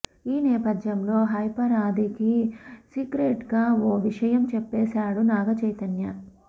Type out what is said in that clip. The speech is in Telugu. ఈ నేపథ్యంలో హైపర్ ఆదికి సీక్రెట్గా ఓ విషయం చెప్పశాడు నాగచైతన్య